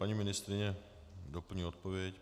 Paní ministryně doplní odpověď.